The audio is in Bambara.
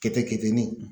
Kɛtɛ keteni